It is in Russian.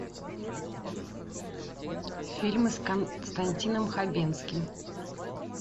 фильмы с константином хабенским